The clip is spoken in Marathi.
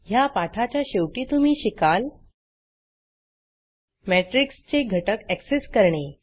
ह्या पाठाच्या शेवटी तुम्ही शिकाल Matrixमेट्रिक्स चे घटक एक्सेस करणे